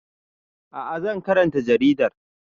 A'a zan karanta jaridar